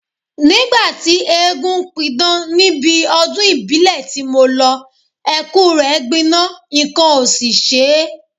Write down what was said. Nígbà tí eégún ń pidán níbi ọdún ìbílẹ̀ ti mo lọ, Ẹ̀kú rẹ gbiná nǹkan ò sì ṣe e